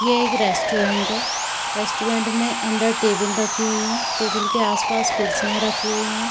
ये एक रेस्टोरेंट है रेस्टोरेंट में अंदर टेबल रखी हुई है टेबल के आस-पास कुर्सियां रखी हुई हैं।